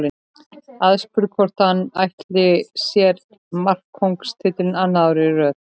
Aðspurður hvort hann ætli sér markakóngstitilinn annað árið í röð.